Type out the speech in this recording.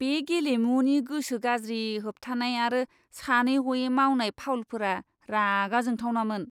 बे गेलेमुनि गोसो गाज्रि होबथानाय आरो सानै ह'वै मावनाय फाउलफोरा रागा जोंथावनामोन!